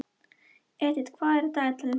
Edith, hvað er á dagatalinu í dag?